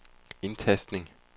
indtastning